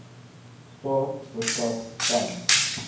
staat verskaf tand